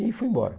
E fui embora.